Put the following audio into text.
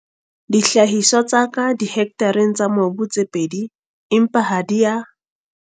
Dihlahiswa tsa ka dihektareng tsa mobu tse pedi empa ha di a.